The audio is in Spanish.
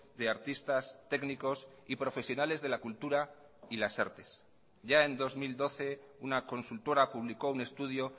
de artistas técnicos y profesionales de la cultura y las artes ya en dos mil doce una consultora publicó un estudio